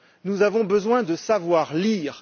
Nous avons besoin de savoir lire.